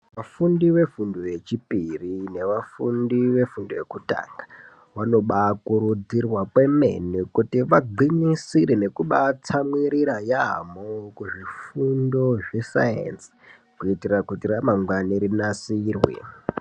Vafundi vefundo yechipiri nevafundi vefundo yekutanga, vanobakurudzirwa kwemene kuti vagwinyisere nekubatsamwirira yaamho mukuzvifundo zvesaenzi. Kuitira kuti ramangwani rinasirwe.